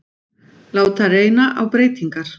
Láta reyna á breytingar